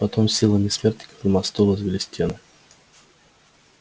потом силами смертников на мосту возвели стены